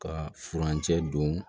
Ka furancɛ don